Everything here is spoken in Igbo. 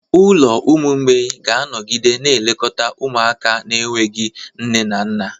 Ụlọ ụmụ mgbei ga-anọgide na-elekọta ụmụaka na-enweghị nne na nna.